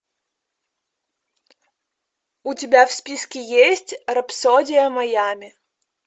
у тебя в списке есть рапсодия майами